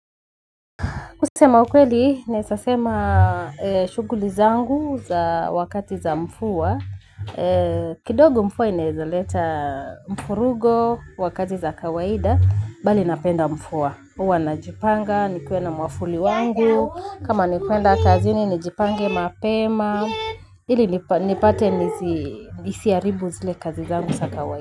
Kusema ukweli, naweza sema shughuli zangu za wakati za mvua, kidogo mvua inaweza leta mvurugo wa kazi za kawaida, bali napenda mvua. Huwa najipanga, nikuwe na mwavuli wangu, kama ni kwenda kazini nijipange mapema, ili nipate nisiharibu zile kazi zangu za kawaida.